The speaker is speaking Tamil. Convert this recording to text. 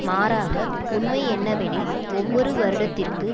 மாறாக உண்மையென்னவெனில் ஒவ்வொரு வருடத்திற்கு